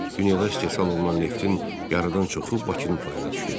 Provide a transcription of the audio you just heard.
Dünyada istehsal olunan neftin yarıdan çoxu Bakının payına düşürdü.